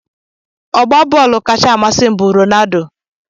Ọgba bọọlụ kacha amasị m bụ Ronaldo.